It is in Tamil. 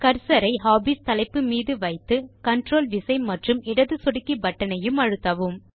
கர்சர் ஐ ஹாபீஸ் தலைப்பு மீது வைத்து கன்ட்ரோல் விசை மற்றும் இடது சொடுக்கி பட்டன் ஐயும் அழுத்தவும்